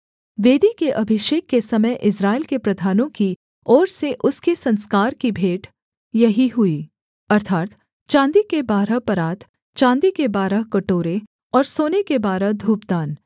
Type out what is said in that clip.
वेदी के अभिषेक के समय इस्राएल के प्रधानों की ओर से उसके संस्कार की भेंट यही हुई अर्थात् चाँदी के बारह परात चाँदी के बारह कटोरे और सोने के बारह धूपदान